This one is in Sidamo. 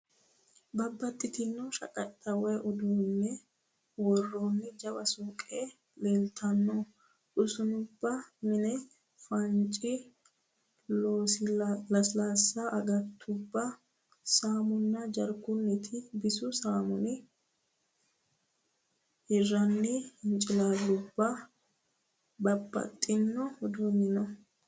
Babaxitino shaqaxxa woyi uduunne worroonni jawa suuqe leeltanno. Usuunnubbano mini faanchi, lasilaassu agattubba, saamunna jarkunniti, bisu saamuni, hirranni hincilaallubbanna babbaxino uduunni no.